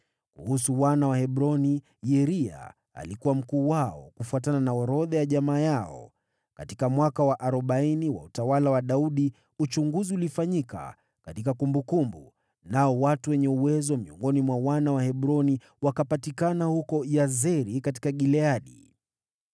Kuhusu wana wa Hebroni, Yeria alikuwa mkuu wao kufuatana na orodha ya jamaa yao. Katika mwaka wa arobaini wa utawala wa Daudi uchunguzi ulifanyika katika kumbukumbu, nao watu wenye uwezo miongoni mwa wana wa Hebroni wakapatikana huko Yazeri katika Gileadi.